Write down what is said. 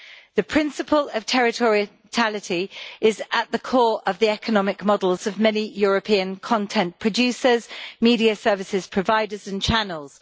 The principle of territoriality is at the core of the economic models of many European content producers, media services providers and channels.